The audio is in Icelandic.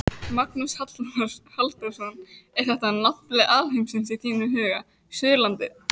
Magnús Halldórsson: Er þetta nafli alheimsins í þínum huga, Suðurlandið?